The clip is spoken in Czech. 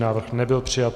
Návrh nebyl přijat.